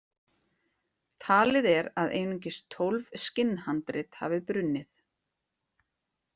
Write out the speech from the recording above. Talið er að einungis tólf skinnhandrit hafi brunnið.